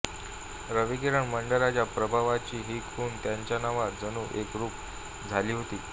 रविकिरण मंडळाच्या प्रभावाची ही खूण त्यांच्या नावात जणू एकरूप झाली होती